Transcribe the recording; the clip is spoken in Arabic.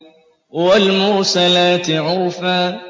وَالْمُرْسَلَاتِ عُرْفًا